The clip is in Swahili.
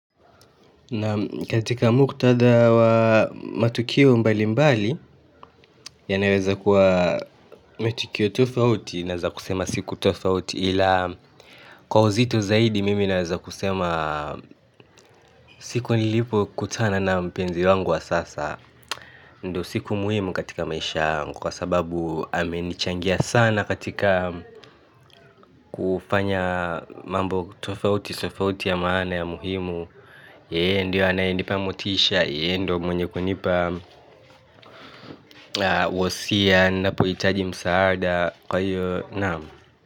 Naam katika muktadha wa matukio mbali mbali yanaweza kuwa matukio tofauti naweza kusema siku tofauti ila kwa uzito zaidi mimi naweza kusema siku nilipokutana na mpenzi wangu wa sasa ndiyo siku muhimu katika maisha yangu kwa sababu amenichangia sana katika kufanya mambo tofauti tofauti ya maana ya muhimu ndiye anayenipa motisha yeye ndiye mwenye kunipa wosia ninapohitaji msaada kwa hivyo naam.